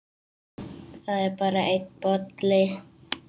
Það er bara einn bolli!